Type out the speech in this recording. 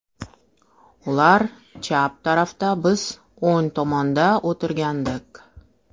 Ular chap tarafda, biz o‘ng tomonda o‘tirgandik.